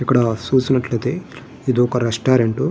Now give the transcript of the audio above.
ఇక్కడ చూసినట్లయితే ఇది ఒక రెస్టారంట్ .